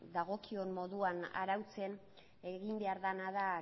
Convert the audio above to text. dagokion moduan arautzen egin behar dena da